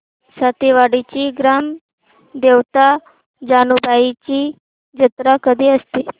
सातेवाडीची ग्राम देवता जानुबाईची जत्रा कधी असते